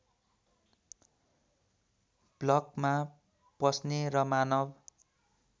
ब्लकमा पस्ने र मानव